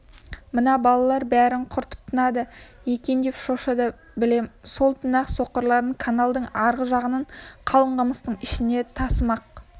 мына балалар бәрін құртып тынады екендеп шошыды білем сол түні-ақ соқырларын каналдың арғы жағындағы қалың қамыстың ішіне тасымақ